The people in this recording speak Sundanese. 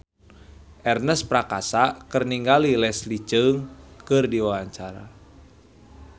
Ernest Prakasa olohok ningali Leslie Cheung keur diwawancara